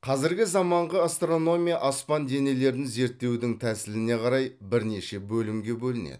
қазіргі заманғы астрономия аспан денелерін зерттеудің тәсіліне қарай бірнеше бөлімге бөлінеді